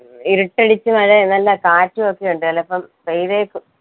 ഇരുട്ടടിച്ച് മഴേ നല്ല കാറ്റു ഒക്കെ ഉണ്ട് ചിലപ്പോ പെയ്തേക്കും